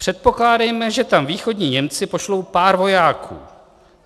"Předpokládejme, že tam východní Němci pošlou pár vojáků.